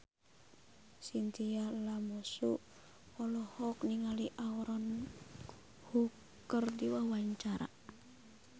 Chintya Lamusu olohok ningali Aaron Kwok keur diwawancara